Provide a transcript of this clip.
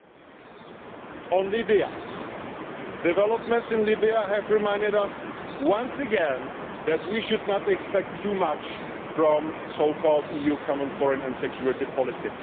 Turning to Libya, developments in Libya have reminded us once again that we should not expect too much from the so called EU Common Foreign and Security Policy.